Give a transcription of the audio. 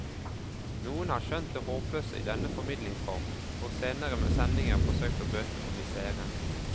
Noen har skjønt det håpløse i denne formidlingsformen, for senere sendinger forsøkte å bøte på misèren.